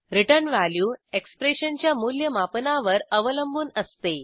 return value एक्सप्रेशनच्या मूल्यमापनावर अवलंबून असते